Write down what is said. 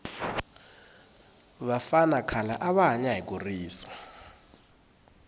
vafana khale ava hanya hi kurisa